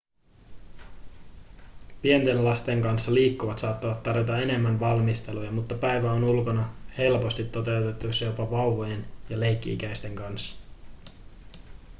pienten lasten kanssa liikkuvat saattavat tarvita enemmän valmisteluja mutta päivä ulkona on helposti toteutettavissa jopa vauvojen ja leikki-ikäisten kanssa